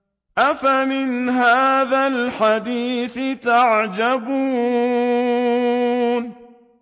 أَفَمِنْ هَٰذَا الْحَدِيثِ تَعْجَبُونَ